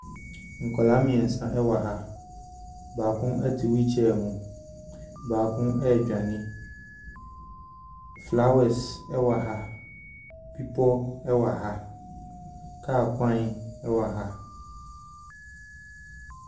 Nkwadaa mmeɛnsa wɔ ha. Baako te wheel chair mu. Baako redwane. Flowers wɔ ha. Bepɔ wɔ ha. Kaa kwan wɔ ha.